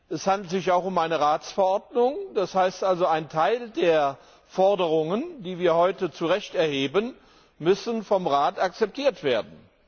Es handelt sich dabei um eine Ratsverordnung, das heißt also Ein Teil der Forderungen, die wir heute zu Recht erheben, muss vom Rat akzeptiert werden.